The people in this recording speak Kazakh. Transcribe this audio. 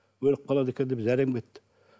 өліп қалады екен деп зәрем кетті